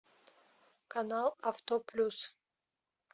канал авто плюс